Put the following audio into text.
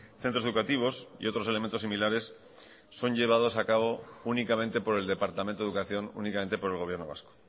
centros educativos y otros elementos similares son llevados a cabo únicamente por el departamento de educación únicamente por el gobierno vasco